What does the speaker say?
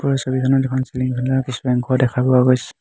ওপৰৰ ছবিখনত এখন চিলিং ফেন ৰ কিছু অংশ দেখা পোৱা গৈছে।